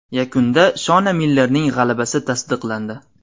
Yakunda Shona Millerning g‘alabasi tasdiqlandi.